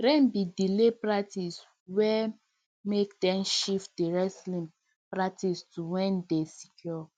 rain bin delay practice wey make dem shift di wrestling practice to where dey secure